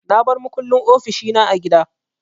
Na bar makullin ofishi na a gida.